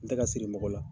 N tɛ ka siri mɔgɔ la